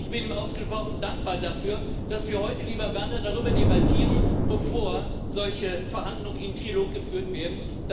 Ich bin ihm ausgesprochen dankbar dafür, dass wir heute, lieber Werner, darüber debattieren, bevor solche Verhandlungen im Trilog geführt werden.